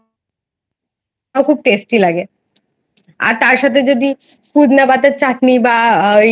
আর খুব Tasty লাগে আর তার সাথে যদি পুদিনা পাতার চাটনি বা ওই